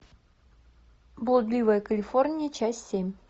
блудливая калифорния часть семь